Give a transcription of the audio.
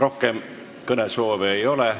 Rohkem kõnesoove ei ole.